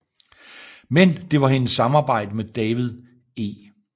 Men det var hendes samarbejde med David E